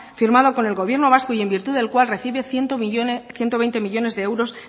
firmado con el gobierno vasco y en virtud del cual recibe ciento veinte millónes de euros